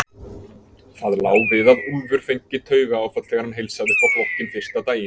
Það lá við að Úlfur fengi taugaáfall þegar hann heilsaði upp á flokkinn fyrsta daginn.